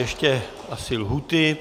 Ještě asi lhůty.